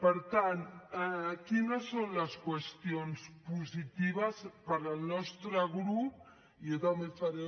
per tant quines són les qüestions positives pel nostre grup i jo també faré